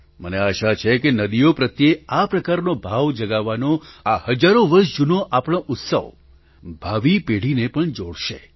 મને આશા છે કે નદીઓ પ્રત્યે આ પ્રકારનો ભાવ જગાવવાનો આ હજારો વર્ષ જૂનો આપણો ઉત્સવ ભાવિ પેઢીને પણ જોડશે